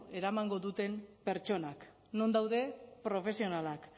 eramango duten pertsonak non daude profesionalak